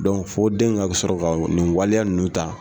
fɔ den in ka sɔrɔ ka nin waleya ninnu ta.